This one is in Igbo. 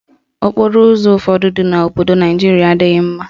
Okporoụzọ ụfọdụ dị n'obodo Naijiria adịghị mma.